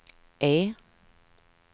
E